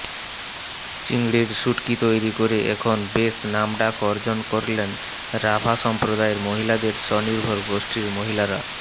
চিংড়ির শুটকি তৈরি করে এখন বেশ নামডাক অর্জন করলেন রাভা সম্প্রদায়ের মহিলাদের স্বনির্ভর গোষ্ঠীর মহিলারা